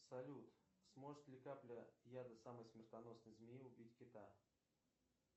салют сможет ли капля яда самой смертоносной змеи убить кита